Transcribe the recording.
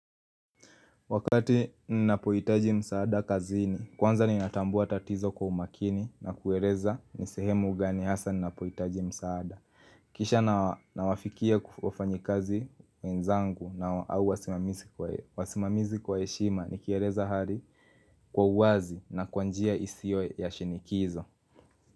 Wakati ninapohitaji msaada kazini, kwanza ninatambua tatizo kwa umakini na kueleza ni sehemu gani hasa ninapohitaji msaada. Kisha nawafikia wafanyikazi wenzangu na au wasimamizi kwa heshima, nikieleza hali kwa uwazi na kwa njia isiyo ya shinikizo.